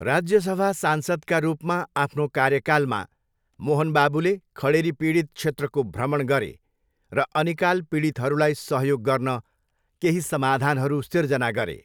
राज्यसभा सांसदका रूपमा आफ्नो कार्यकालमा, मोहन बाबुले खडेरीपीडित क्षेत्रको भ्रमण गरे र अनिकाल पीडितहरूलाई सहयोग गर्न केही समाधानहरू सिर्जना गरे।